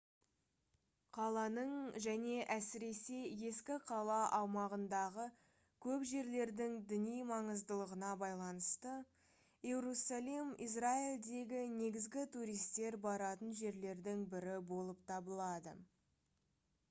қаланың және әсіресе ескі қала аумағындағы көп жерлердің діни маңыздылығына байланысты иерусалим израильдегі негізгі туристер баратын жерлердің бірі болып табылады